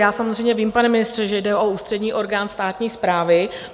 Já samozřejmě vím, pane ministře, že jde o ústřední orgán státní správy.